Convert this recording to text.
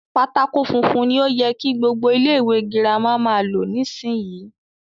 Pátákó funfun ni o yẹ kí gbogbo ilé ìwé girama máa lò nísìyí.